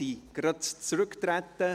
sie sind soeben zurückgetregen.